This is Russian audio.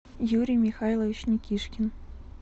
юрий михайлович никишкин